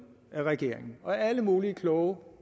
af regeringen og alle mulige kloge